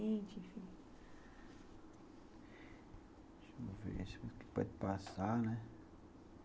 Deixa eu ver, deixa eu ver o que pode passar, né.